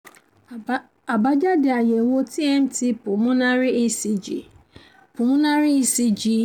a àbájáde àyẹ̀wò tmt pulmonary ecg pulmonary ecg